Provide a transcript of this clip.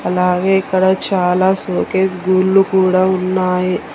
అలాగే ఇక్కడ చాలా షోకేస్ గుళ్ళు కూడా ఉన్నాయి